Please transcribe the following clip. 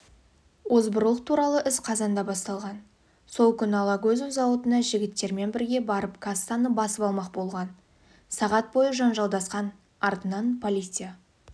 озбырлық туралы іс қазанда басталған сол күні алагөзов зауытына жігіттермен бірге барып кассаны басып алмақ болған сағат бойы жанжалдасқан артынан полиция